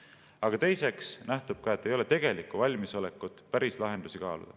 Aga teiseks nähtub sellest, et ei ole tegelikku valmisolekut päris lahendusi kaaluda.